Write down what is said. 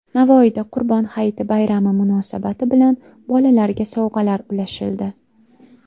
Navoiyda Qurbon hayiti bayrami munosabati bilan bolalarga sovg‘alar ulashildi.